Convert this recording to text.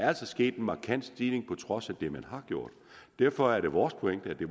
er sket en markant stigning på trods af det man har gjort derfor er det vores pointe at